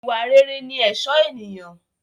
Ìwà rere ni ẹ̀ṣọ́ ènìyàn